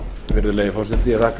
virðulegi forseti ég þakka